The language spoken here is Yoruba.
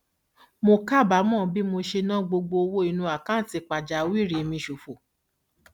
mo kábàámọ bí mo ṣe ná gbogbo owó nínú àkáǹtì pàjáwìrì mi ṣòfò